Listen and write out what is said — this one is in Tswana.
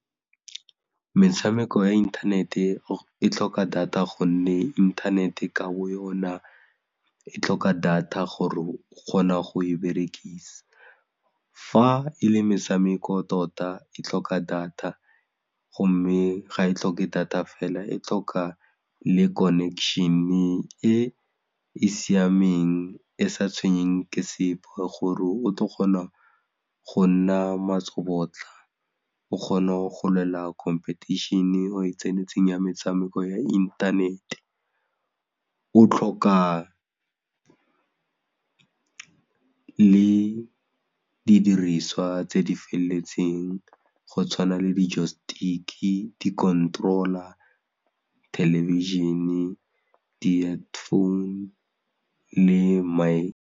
Metshameko ya inthanete e tlhoka data gonne inthanete ka bo yona e tlhoka data gore o kgona go e berekisa, fa e le metshameko tota ke tlhoka data gomme ga e tlhoke data fela e tlhoka le connection-e e e siameng e sa tshwenyeng ke sepe gore o tlo kgona go nna matsobotla o kgone go lwela competition-e e o e tsenetseng ya metshameko ya inthanete, o tlhoka le didiriswa tse di felletseng go tshwana le joystick-i, di-control-a, thelebišhene, di-headphone le mic.